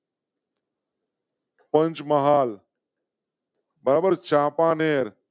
પંચમહાલ. બરાબર ચાપાનેર